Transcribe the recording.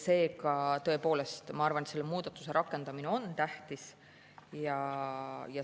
Seega, tõepoolest, ma arvan, et selle muudatuse rakendamine on tähtis.